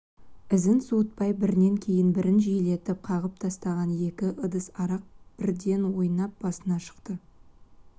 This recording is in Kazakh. ізін суытпай бірінен кейін бірін жиілетіп қағып тастаған екі ыдыс арақ бірден ойнап басына шықты